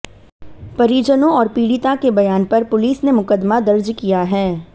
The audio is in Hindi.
परिजनों और पीडि़ता के बयान पर पुलिस ने मुकदमा दर्ज किया है